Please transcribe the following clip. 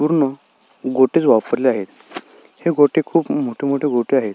पूर्ण गोटेच वापरले आहेत हे गोटे खुप मोठे मोठे गोटे आहेत.